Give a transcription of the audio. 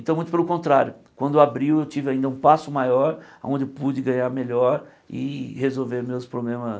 Então, muito pelo contrário, quando abriu, eu tive ainda um passo maior, onde eu pude ganhar melhor e resolver meus problemas